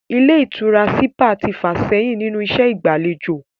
Ilé ìtura sípà ti fà sẹ́yìn nínú iṣẹ́ ìgbà'lejò